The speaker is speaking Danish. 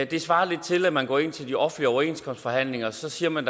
det svarer lidt til at man går ind til de offentlige overenskomstforhandlinger og så siger man